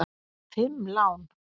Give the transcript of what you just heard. Fimm lán!